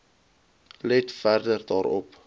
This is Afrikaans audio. let verder daarop